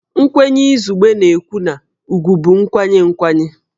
Nkwenye izugbe na-ekwu na ugwù bụ nkwanye nkwanye